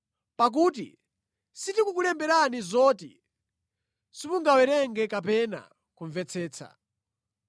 Pakuti sitikukulemberani zoti simungawerenge kapena kumvetsetsa.